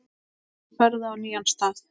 Nú ferðu á nýjan stað.